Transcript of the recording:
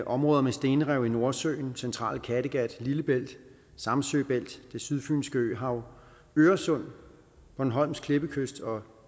områder med stenrev i nordsøen det centrale kattegat lillebælt samsø bælt det sydfynske øhav øresund bornholms klippekyst og